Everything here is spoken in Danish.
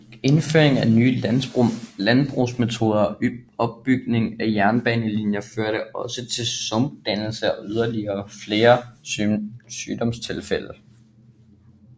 Indføring af nye landbrugsmetoder og bygning af jernbanelinjer førte også til sumpdannelse og yderligere flere sygdomstilfælde